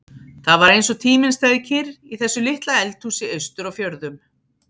Það var eins og tíminn stæði kyrr í þessu litla eldhúsi austur á fjörðum.